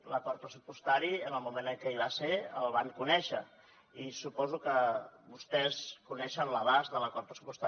l’acord pressupostari en el moment en què hi va ser el van conèixer i suposo que vostès coneixen l’abast de l’acord pressupostari